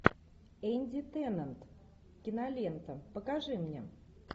энди теннант кинолента покажи мне